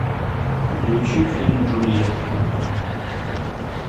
включи фильм джульетта